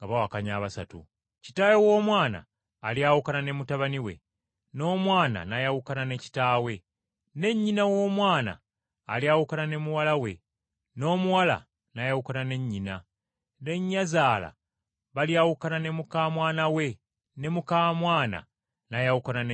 Kitaawe w’omwana alyawukana ne mutabani we, n’omwana n’ayawukana ne kitaawe, ne nnyina w’omwana alyawukana ne muwala we n’omuwala n’ayawukana ne nnyina, ne nnyazaala balyawukana ne muka mwana we ne muka mwana n’ayawukana ne nnyazaala we.”